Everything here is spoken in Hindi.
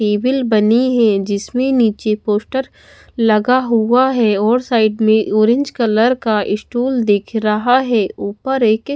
टेबिल बनी है जिसमें नीचे पोस्टर लगा हुआ है और साइड में ऑरेंज कलर का स्टॉल दिख रहा है ऊपर एक--